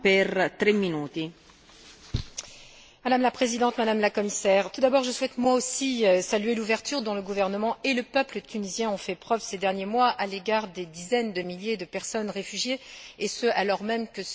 Madame la Présidente, Madame la Commissaire, tout d'abord, je souhaite moi aussi saluer l'ouverture dont le gouvernement et le peuple tunisien ont fait preuve, ces derniers mois, à l'égard de dizaines de milliers de personnes réfugiées, et ce, alors même que ce pays traversait les turbulences d'une révolution.